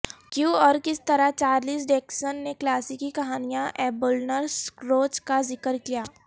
کیوں اور کس طرح چارلس ڈیکسن نے کلاسیکی کہانیاں ایبولنر سکروج کا ذکر کیا